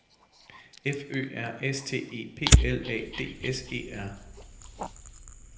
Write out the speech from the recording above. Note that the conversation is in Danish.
F Ø R S T E P L A D S E R